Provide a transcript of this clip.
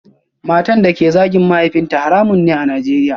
Matan da ke zagin mahaifinta haramun ne a Najeriya